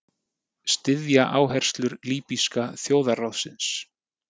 Styðja áherslur Líbíska þjóðarráðsins